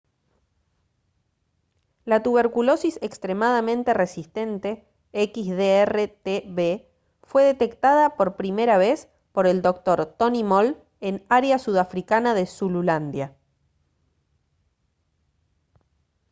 la tuberculosis extremadamente resistente xdr-tb fue detectada por primera vez por el dr. tony moll en área sudafricana de zululandia